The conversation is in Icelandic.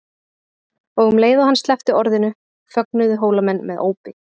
Og um leið og hann sleppti orðinu fögnuðu Hólamenn með ópi.